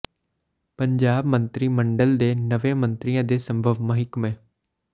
ਪੰਜਾਬ ਮੰਤਰੀ ਮੰਡਲ ਦੇ ਨਵੇਂ ਮੰਤਰੀਆਂ ਦੇ ਸੰਭਵ ਮਹਿਕਮੇ